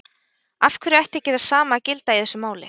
Af hverju ætti ekki það sama að gilda í þessu máli?